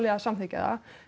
að samþykkja það